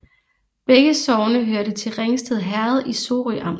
Begge sogne hørte til Ringsted Herred i Sorø Amt